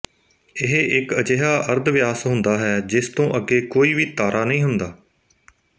ਇਹ ਇੱਕ ਅਜਿਹਾ ਅਰਧ ਵਿਆਸ ਹੁੰਦਾ ਹੈ ਜਿਸ ਤੋਂ ਅੱਗੇ ਕੋਈ ਵੀ ਤਾਰਾ ਨਹੀਂ ਹੁੰਦਾ